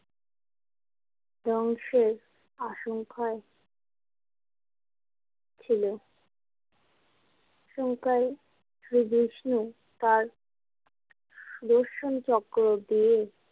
ধ্বংসের আসঙ্খায় ছিল আসঙ্খায় শ্রী বিষ্ণু তাঁর সুদর্শন চক্র দিয়ে।